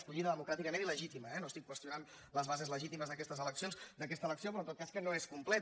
escollida democràticament i legítima eh no estic qüestionant les bases legítimes d’aquesta elecció però en tot cas que no és completa